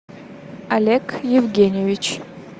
олег евгеньевич